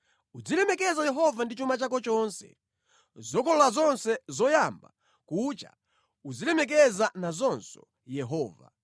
Uzilemekeza Yehova ndi chuma chako chonse; zokolola zonse zoyamba kucha uzilemekeza nazonso Yehova.